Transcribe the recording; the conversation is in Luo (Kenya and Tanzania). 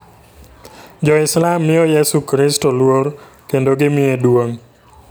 Jo-Islam miyo Yesu Kristo luor kendo gimiye duong'.